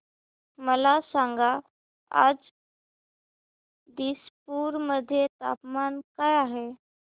मला सांगा आज दिसपूर मध्ये तापमान काय आहे